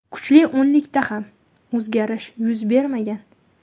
Kuchli o‘nlikda ham o‘zgarish yuz bermagan.